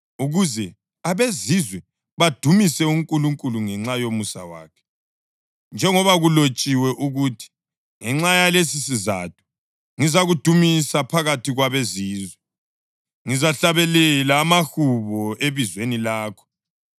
ukuze abezizwe badumise uNkulunkulu ngenxa yomusa wakhe, njengoba kulotshiwe ukuthi: “Ngenxa yalesisizatho ngizakudumisa phakathi kwabeZizwe, ngizahlabela amahubo ebizweni lakho.” + 15.9 2 USamuyeli 22.50; AmaHubo 18.49